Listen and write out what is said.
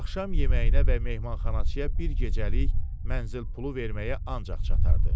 Axşam yeməyinə və mehmanxanaçıya bir gecəlik mənzil pulu verməyə ancaq çatardı.